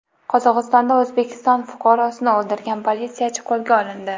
Qozog‘istonda O‘zbekiston fuqarosini o‘ldirgan politsiyachi qo‘lga olindi.